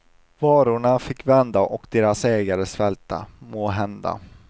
Varorna fick vända och deras ägare svälta, måhända.